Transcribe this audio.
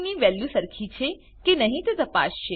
ની વેલ્યુ સરખી છે કે નહી તે તપાસસે